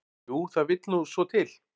"""Jú, það vill nú svo til."""